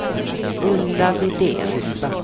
Ulla Widén